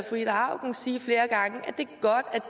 fru ida auken sige